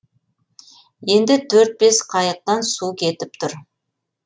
енді төрт бес қайықтан су кетіп тұр